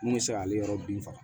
Mun bɛ se k'ale yɔrɔ bin faga